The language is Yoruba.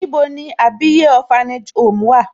Níbo ní Àbíyè orphanage home wà?